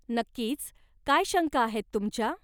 नक्कीच, काय शंका आहेत तुमच्या?